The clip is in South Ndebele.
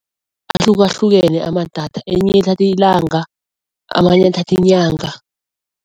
Ahlukahlukene amadatha elinye lithatha ilanga amanye athatha inyanga.